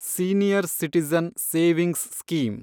senior citizen savings scheme